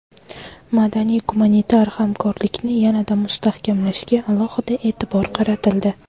Madaniy-gumanitar hamkorlikni yanada mustahkamlashga alohida e’tibor qaratildi.